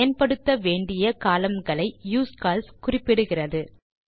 பயன்படுத்த வேண்டிய கோலம்ன் களை யூஸ்கால்ஸ் குறிப்பிடுகிறது